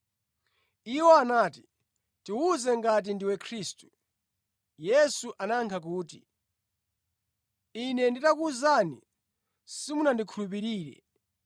Iwo anati, “Tiwuze, ngati ndiwe Khristu.” Yesu anayankha kuti, “Ine nditakuwuzani simungandikhulupirire.